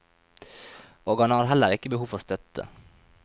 Og han har heller ikke behov for støtte.